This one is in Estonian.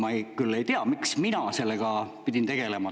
Ma küll ei tea, miks mina pidin sellega tegelema.